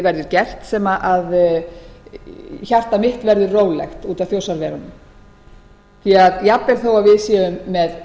verður gert sem hjarta mitt verður rólegt út af þjórsárverunum því að jafnvel þó að við séum með